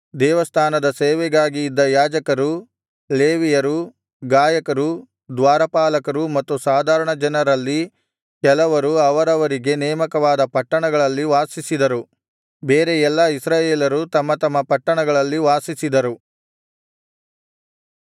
ದೇವಸ್ಥಾನದ ಸೇವೆಗಾಗಿ ಇದ್ದ ಯಾಜಕರು ಲೇವಿಯರು ಗಾಯಕರು ದ್ವಾರಪಾಲಕರು ಮತ್ತು ಸಾಧಾರಣಜನರಲ್ಲಿ ಕೆಲವರು ಅವರವರಿಗೆ ನೇಮಕವಾದ ಪಟ್ಟಣಗಳಲ್ಲಿ ವಾಸಿಸಿದರು ಬೇರೆ ಎಲ್ಲಾ ಇಸ್ರಾಯೇಲರು ತಮ್ಮ ತಮ್ಮ ಪಟ್ಟಣಗಳಲ್ಲಿ ವಾಸಿಸಿದರು